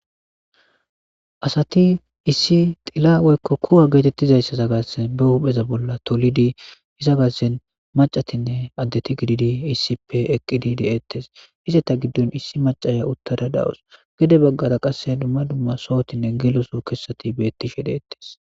asati issi xilawoykko kuwa geetettizayssaza gassen ba hupheza bolla tolidi iza gassen macatinne addeti gididi issippe eqqidi de7ettes ize ta giddon issi macaya uttada dawus gede baggara qasse dumma dumma sohotinne geloso kessati beettishe deettes